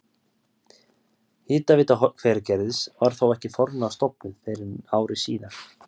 Hitaveita Hveragerðis var þó ekki formlega stofnuð fyrr en ári síðar.